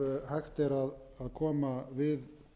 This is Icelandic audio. hægt er að koma við